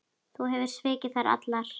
Þú hefur svikið þær allar.